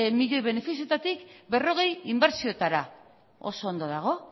milioi benefizioetatik berrogei inbertsioetara oso ondo dago